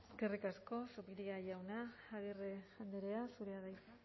eskerrik asko zupiria jauna agirre andrea zurea da hitza